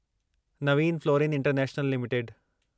Naveen Fluorine International limited